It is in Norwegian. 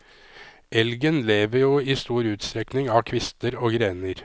Elgen lever jo i stor utstrekning av kvister og grener.